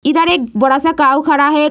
इधर एक बड़ा-सा काउ खड़ा है।